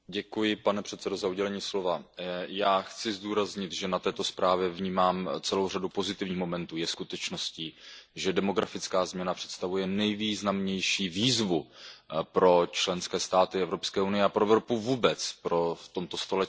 Pane předsedající, já chci zdůraznit, že na této zprávě vnímám celou řadu pozitivních momentů. Je skutečností, že demografická změna představuje nejvýznamnější výzvu pro členské státy Evropské unie a pro Evropu vůbec v tomto století.